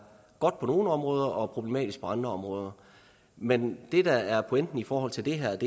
godt på nogle områder og problematisk på andre områder men det der er pointen i forhold til det her